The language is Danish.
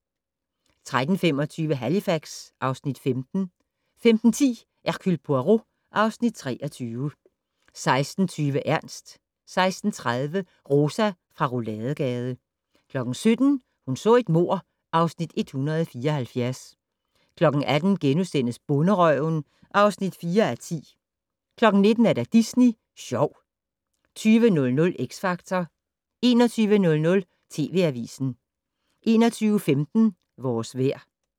13:25: Halifax (Afs. 15) 15:10: Hercule Poirot (Afs. 23) 16:20: Ernst 16:30: Rosa fra Rouladegade 17:00: Hun så et mord (Afs. 174) 18:00: Bonderøven (4:10)* 19:00: Disney Sjov 20:00: X Factor 21:00: TV Avisen 21:15: Vores vejr